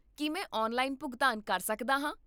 ਕੀ ਮੈਂ ਔਨਲਾਈਨ ਭੁਗਤਾਨ ਕਰ ਸਕਦਾ ਹਾਂ?